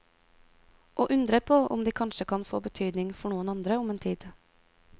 Og undrer på om de kanskje kan få betydning for noen andre om en tid.